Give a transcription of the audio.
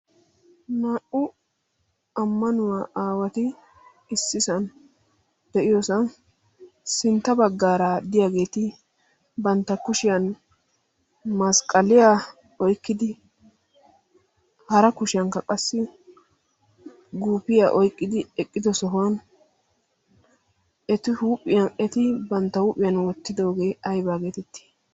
naa'u ammanuwaa aawati issisan de'iyoosa sintta baggaaraa diyaageeti bantta kushiyan masqqaliyaa oykkidi hara kushiyankka qassi guufiyaa oyqqidi eqqido sohuwan eti huuphiyan eti bantta huuphiyan wottidoogee aybaageetetti